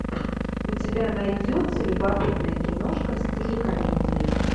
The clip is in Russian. у тебя найдется любопытная киношка в стиле комедии